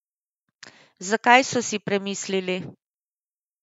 Zakaj so si premislili?